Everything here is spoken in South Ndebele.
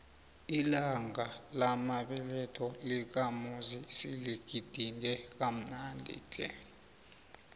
ilanga lamabeletho lakamuzi siligidinge kamnandi tle